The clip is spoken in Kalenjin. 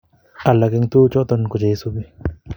Alak en tuguk chuton ko che isubi